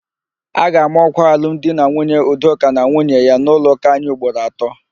A ga-ama ọ́kwà alumdinanwunye Udoka na nwunye ya n'ụlọụka anyị ugboro atọ.